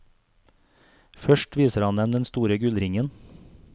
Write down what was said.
Først viser han dem den store gullringen.